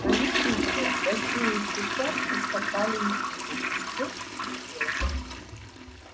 наездники рассеясь тотчас ускакали из виду и степь пустела